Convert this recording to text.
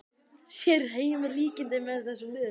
Sér Heimir líkindi með þessum liðum?